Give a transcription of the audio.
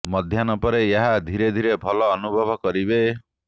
ମଧ୍ୟାହ୍ନ ପରେ ଏହା ଧୀରେ ଧୀରେ ଭଲ ଅନୁଭବ କରିବେ